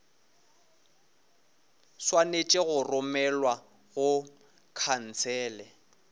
swanetše go romelwa go khansele